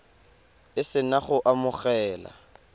o se na go amogela